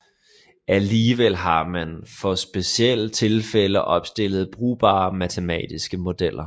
Alligevel har man for specielle tilfælde opstillet brugbare matematiske modeller